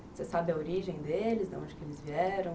Você sabe a origem deles, de onde que eles vieram?